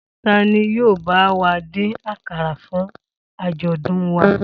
Ta ni yóò bá wa dín àkàrà fún àjọ̀dún wa?